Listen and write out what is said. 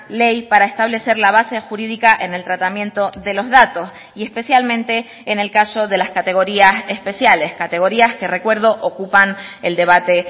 ley para establecer la base jurídica en el tratamiento de los datos y especialmente en el caso de las categorías especiales categorías que recuerdo ocupan el debate